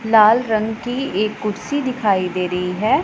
लाल रंग की एक कुर्सी दिखाई दे रही है।